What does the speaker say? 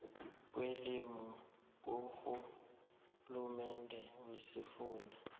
kwelimi kurhulumende wesifunda